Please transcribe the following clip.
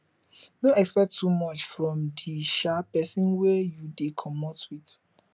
no expect too much from di um person wey you dey comot with